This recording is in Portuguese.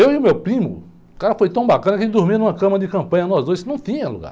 Eu e o meu primo, o cara foi tão bacana que a gente dormia em uma cama de campanha, nós dois, não tinha lugar.